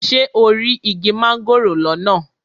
Ṣé o rí igi mángòrò lọ́nà?